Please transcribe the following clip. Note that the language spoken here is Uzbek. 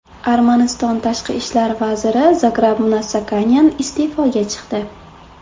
Armaniston tashqi ishlar vaziri Zograb Mnatsakanyan iste’foga chiqdi.